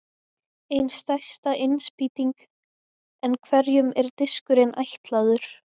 Ein stærsta innspýting En hverjum er diskurinn ætlaður?